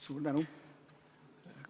Suur tänu!